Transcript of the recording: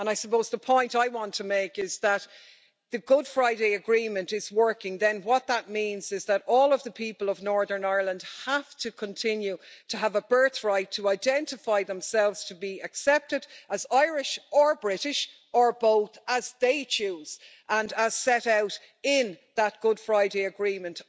I suppose the point I want to make is that if the Good Friday Agreement is working then what that means is that all of the people of Northern Ireland have to continue to have a birth right to identify themselves to be accepted as Irish or British or both as they choose and as set out in that Good Friday Agreement.